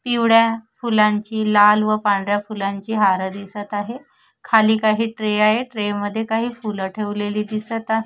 पिवळ्या फुलांची लाल व पांढऱ्या फुलांची हार दिसत आहे खाली काही ट्रे आहे ट्रे मध्ये काही फूल ठेवलेली दिसत आहे.